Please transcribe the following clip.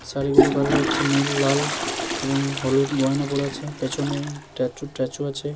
শাড়িগুলো কালার হচ্ছে নীল লাল এবং হলুদ গয়না পরে আছে। পেছনে ট্যাচু স্ট্যাচু আছে।